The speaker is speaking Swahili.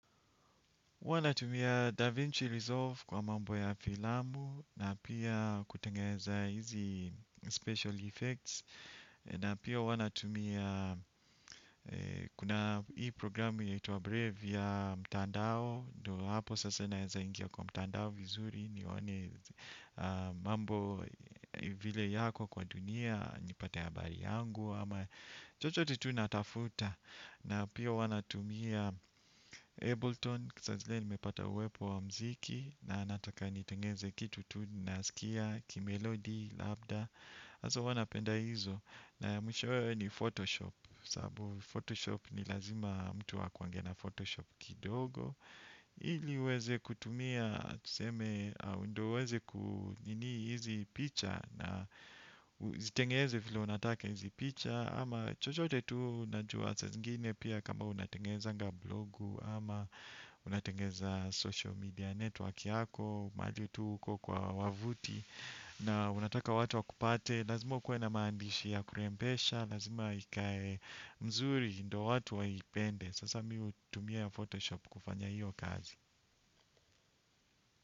Huwa natumia Da Vinci Resolve kwa mambo ya filamu na pia kutengeza hizi special effects na pia huwa natumia kuna hii programu yaitwa Brave ya mtandao ndo hapo sasa naeza ingia kwa mtandao vizuri nione mambo vile yako kwa dunia nipate habari yangu ama chochote tu natafuta. Na pia huwa natumia Ableton, saa zile nimepata uwepo wa muziki na nataka nitengeze kitu tu nasikia, kimelodi, labda hasa huwa napenda hizo, na mwishowe ni Photoshop. Sababu Photoshop ni lazima mtu akuange na Photoshop kidogo ili uweze kutumia, tuseme, au ndo uweze kunini hizi picha na zitengeze vile unataka hizi picha ama chochote tu najua saa zingine pia kama unatengezanga blogu ama unatengeza social media network yako majuu tu huko kwa wavuti na unataka watu wakupate lazima ukuwe na maandishi ya kurembesha lazima ikae mzuri ndo watu waipende. Sasa mimi hutumia Photoshop kufanya hiyo kazi.